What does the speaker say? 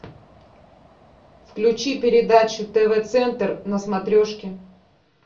включи передачу тв центр на смотрешке